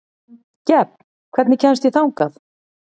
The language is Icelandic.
Gefn, hvernig kemst ég þangað?